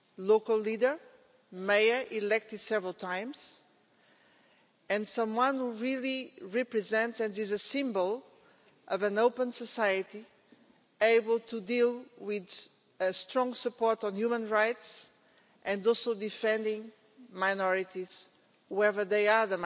local leader, a mayor elected several times, and someone who really represented and was a symbol of an open society, able to deal with strong support on human rights, and also defending minorities wherever they are.